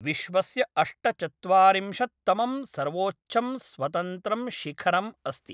विश्वस्य अष्टचत्वारिंशत्तमं सर्वोच्चं स्वतन्त्रं शिखरम् अस्ति ।